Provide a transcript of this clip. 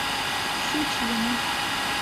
щучьему